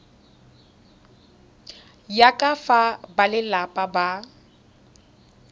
ya ka fa balelapa ba